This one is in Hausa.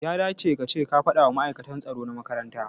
Ya dace kace ka fadawa ma'aikata tsaro na makaranta